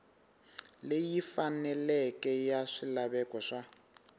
leyi faneleke ya swilaveko swa